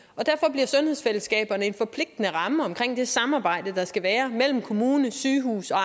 bliver sundhedsfællesskaberne en forpligtende ramme omkring det samarbejde der skal være mellem kommunen sygehuset og